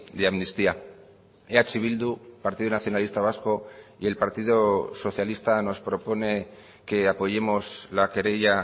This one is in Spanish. de amnistía eh bildu partido nacionalista vasco y el partido socialista nos propone que apoyemos la querella